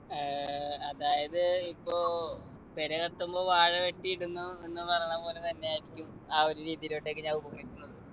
ഏർ അതായത് ഇപ്പോ പെര കത്തുമ്പോ വാഴ വെട്ടി ഇടുന്നു എന്ന് പറയണ പോലെ തന്നെ ആയിരിക്കും ആ ഒരു രീതിയിലോട്ടേക്ക്